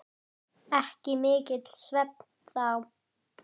Ekki mikill svefn þá.